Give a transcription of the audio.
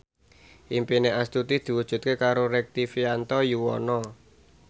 impine Astuti diwujudke karo Rektivianto Yoewono